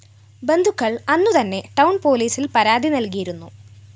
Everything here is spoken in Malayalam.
ബന്ധുക്കള്‍ അന്നുതന്നെ ടൌൺ പോലീസില്‍ പരാതി നല്‍കിയിരുന്നു